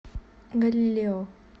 галилео